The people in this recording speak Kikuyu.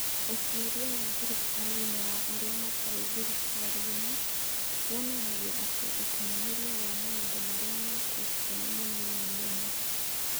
Ũtuĩria wa thirikari na wa arĩa matarĩ thirikari-inĩ wonanagia atĩ ũkinyanĩria wa maũndũ marĩa mekĩtwo nĩ mũnini mũno.